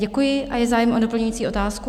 Děkuji, a je zájem o doplňující otázku?